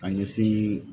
Ka ɲɛsin